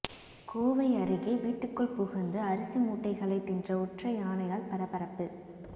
கோவை அருகே வீட்டுக்குள் புகுந்து அரிசி மூட்டைகளை தின்ற ஒற்றை யானையால் பரபரப்பு